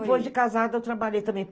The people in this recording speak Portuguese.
Depois de casada eu trabalhei também.